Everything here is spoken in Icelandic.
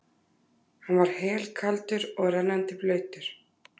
Hann var helkaldur og rennandi blautur.